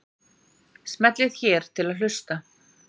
smellið hér til að hlusta